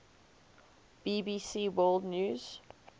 bbc world news